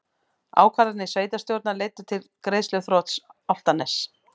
Ákvarðanir sveitarstjórnar leiddu til greiðsluþrots Álftaness